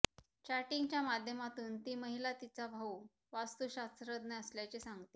चॅटिंगच्या माध्यमातून ती महिला तिचा भाऊ वास्तुशास्त्रज्ञ असल्याचे सांगते